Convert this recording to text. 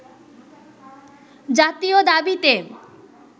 জাতীয় দাবিতে